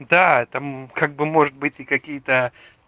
да там как бы может быть и какие-то